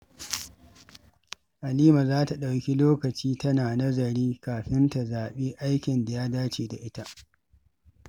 Halima za ta ɗauki lokaci tana nazari kafin ta zabi aikin da ya dace da ita.